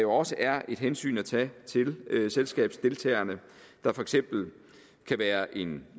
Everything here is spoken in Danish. også er hensyn at tage til selskabsdeltagerne der for eksempel kan være en